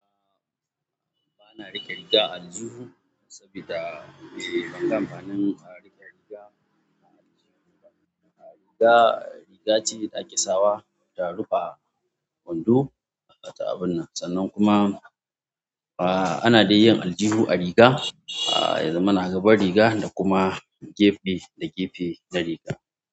A'a bana riƙe riga a aljihu saboda ban ga amfanin a riƙe riga a aljihu ba. Riga, riga ce ɗakin sawa ta rufe kwando a ta abin nan, sannan kuma a ana dai yin aljihu a riga. A ya zamana a gaba riga da kuma gefe da gefe na riga.